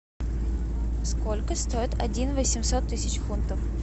сколько стоит один восемьсот тысяч фунтов